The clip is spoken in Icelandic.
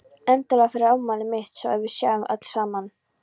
Endilega fyrir afmælið mitt svo að við séum öll saman.